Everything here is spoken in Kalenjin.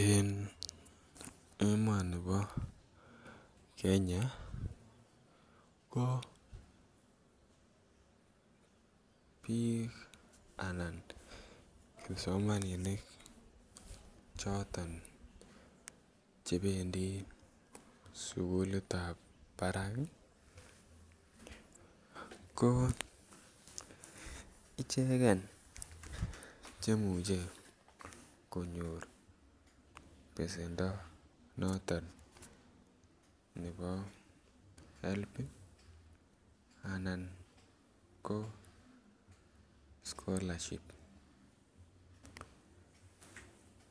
En emoni po Kenya pa piik anan kipsomaninik choton chependi sugulit ab parak ko icheket chemuchen konyor pesendo notok nepo HELP anan ko scholarship